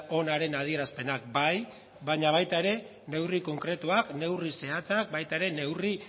onaren adierazpenak bai baina baita ere neurri konkretuak neurri zehatzak baita ere neurri